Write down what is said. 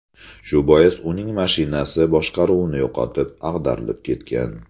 Shu bois uning mashinasi boshqaruvni yo‘qotib, ag‘darilib ketgan.